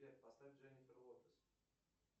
сбер поставь дженнифер лопес